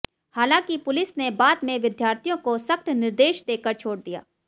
हालांकि पुलिस ने बाद में विद्यार्थियों को सख्त निर्देश देकर छोड़ दिया